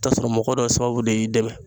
I bi taa sɔrɔ mɔgɔ dɔw sababu de y'i dɛmɛ